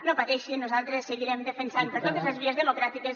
no pateixin nosaltres seguirem defensant per totes les vies democràtiques